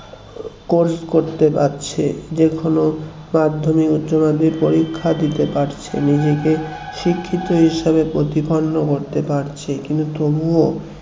course করতে পারছে যে কোনো মাধ্যমিক উচ্চমাধ্যমিক পরীক্ষা দিতে পারছে নিজেকে শিক্ষিত হিসাবে প্রতিপন্ন করতে পারছি কিন্তু তবুও